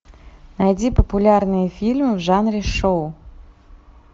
найди популярный фильм в жанре шоу